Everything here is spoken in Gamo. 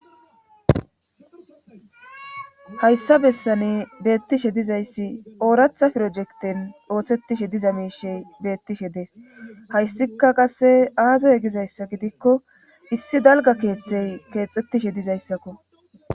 hayssa bessani beettishe dizayssi ooratha pirojekten ooththettishe diza miishey beettishe dees hayssika qasse aazae gizayssa gidikko issi dalga keeththey keexxettishe dizayssakko